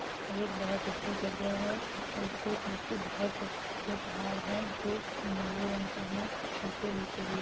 यह एक बहुत अच्छी जगह है और इसके पीछे बोहत अच्छे पहाड़ हैं जो नीले रंग के हैं इसके बीचो-बीच --